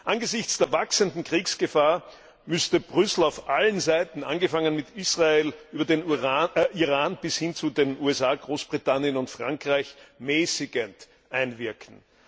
Angesichts der wachsenden Kriegsgefahr müsste Brüssel auf allen Seiten angefangen mit Israel über den Iran bis hin zu den USA, Großbritannien und Frankreich mäßigend einwirken.